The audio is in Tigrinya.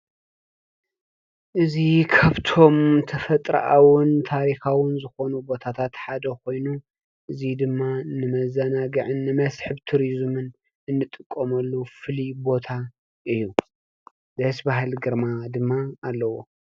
እዚ ካብቶም ተፈጥሮኣውን ታሪኻውን ዝኾኑ ቦታታት ሓደ ኮይኑ እዚ ድማ ንመዘናግዕን መስሕብ ቱሪዝምን እንጥቀመሉ ፍሉይ ቦታ እዩ ደስ በሃሊ ግርማ ድማ ኣለዎ።